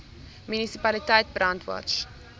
munisipaliteit brandwatch